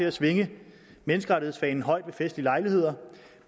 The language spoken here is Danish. at svinge menneskerettighedsfanen højt ved festlige lejligheder